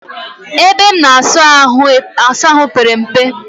Ebe m na-asa ahụ pere mpe